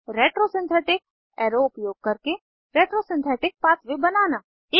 retro synthetic arrow उपयोग करके retro synthetic pathway बनाना